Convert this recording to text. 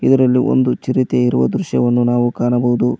ಇದರಲ್ಲಿ ಒಂದು ಚಿರತೆ ಇರುವ ದೃಶ್ಯವನ್ನು ಕಾಣಬಹುದು.